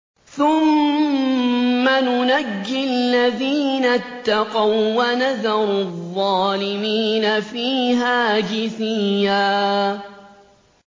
ثُمَّ نُنَجِّي الَّذِينَ اتَّقَوا وَّنَذَرُ الظَّالِمِينَ فِيهَا جِثِيًّا